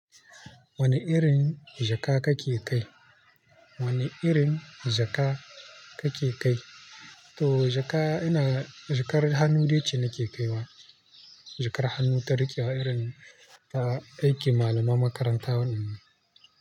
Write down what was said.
Wane irin jaka kake kai? Wane irin jaka kake kai? To jaka ina, jakar hannu dai ce nake kaiwa. Jakar hannu ta riƙewa irin ta aikin malaman makaranta wannan.